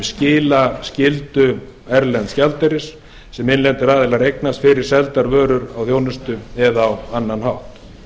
skilaskyldu erlends gjaldeyris sem innlendir aðilar eignast fyrir seldar vörur og þjónustu eða á annan hátt